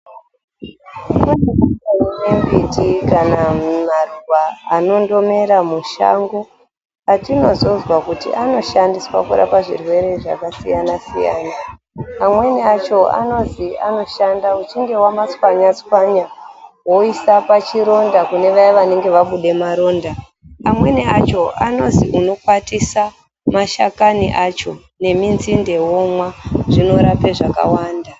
Kune mbiti kana maruwa anondomera mushango atinozozwa kuti anoshandiswa kurape zvirwere zvakasiyanasiyana amweni acho anozwi anoshanda uchinge wamachwanyachwanya woisa pachironda kune vaye vanenge vabude maronda ,amweni acho anozi unokwatisa mashakani acho neminzinde yacho zvinorape zvakawanda.